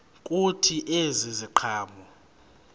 kuthi ezi ziqhamo